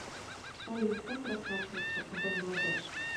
салют как расплачиваться в бангладеш